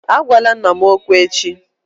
Agwala nna m okwu echi!